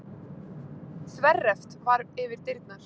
Þverreft var yfir dyrnar.